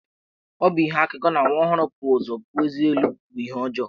Ọ bụ ihe akụkọ na nwa ọhụrụ bu ụzọ puo ezé elu bụ ihe ọjọọ.